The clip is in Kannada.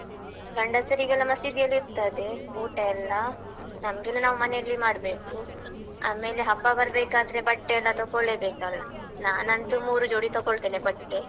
ಗಂಡಸರಿಗೆಲ್ಲ ಮಸೀದಿಯಲ್ಲಿರ್ತದೆ, ಊಟ ಎಲ್ಲ ನಮ್ಗೆಲ್ಲ ನಾವು ಮನೆಯಲ್ಲಿಯೇ ಮಾಡ್ಬೇಕು, ಆಮೇಲೆ ಹಬ್ಬ ಬರ್ಬೇಕಾದ್ರೆ ಬಟ್ಟೆ ಎಲ್ಲ ತಕೊಳ್ಳೇಬೇಕಲ್ಲ, ನಾನಂತೂ ಮೂರು ಜೋಡಿ ತಕೊಳ್ತೇನೆ ಬಟ್ಟೆ.